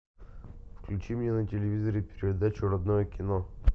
включи мне на телевизоре передачу родное кино